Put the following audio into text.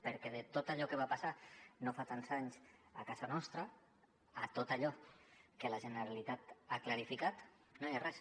perquè de tot allò que va passar no fa tants anys a casa nostra tot allò que la generalitat no ha clarificat no hi ha res